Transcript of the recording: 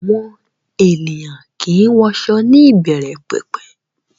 Àwọn ènìyàn kìí wọṣọ ní ìbẹ̀rẹ̀pẹ̀pẹ̀